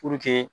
Puruke